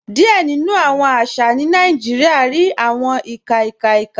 Díẹ̀ nínu awọn àṣà ní Nàìjíríà rí awọn ìkà ìkà ìkà.